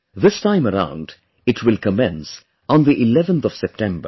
This time around it will commence on the 11th of September